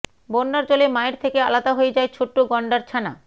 বন্যার জলে মায়ের থেকে আলাদা হয়ে যায় ছোট্ট গণ্ডার ছানা